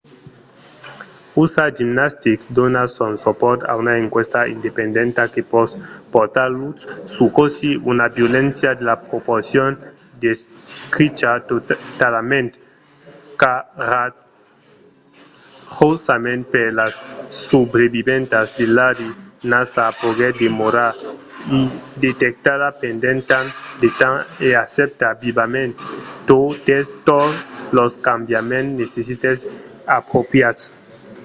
usa gymnastics dona son supòrt a una enquèsta independenta que pòt portar lutz sus cossí una violéncia de la proporcion descricha talament coratjosament per las subreviventas de larry nassar poguèt demorar indetectada pendent tant de temps e accèpta vivament totes los cambiaments necites e apropriats